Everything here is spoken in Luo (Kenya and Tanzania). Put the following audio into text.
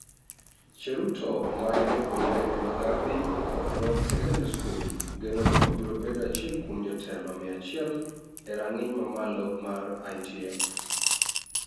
Cheruto, ma en japuonjre e Mbagathi Road Secondary School, geno ni obiro bedo achiel kuom jotelo mia achiel e rang'iny mamalo mar ITF.